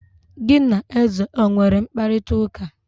gi na eze o nwere mkparịta ụka?